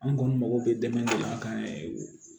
An kɔni mago bɛ dɛmɛ de la an kan